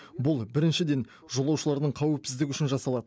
бұл біріншіден жолаушылардың қауіпсіздігі үшін жасалады